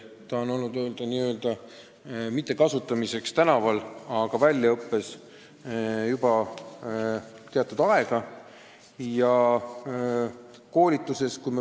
Seda menetlust pole veel rakendatud n-ö tänaval, aga väljaõpe ja koolitused on käinud mõnda aega.